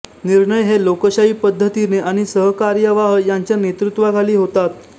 निर्णय हे लोकशाही पद्धतीने आणि सरकार्यवाह यांच्या नेतृवाखाली होतात